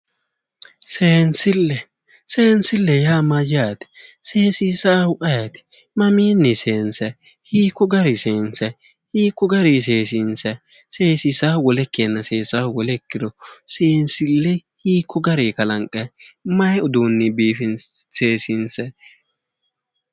Seensille ,seensille yaa mayyate? Seesiisawohu ayeti? Mamiinni seensayi hiikko gari seensayi hiikko gari seesiinsayi seesinsayhu wole ikkiro seesahu wole ikkiro seensille hiikko gari seesiinsayi seensille mayi uduunni kalanqayi?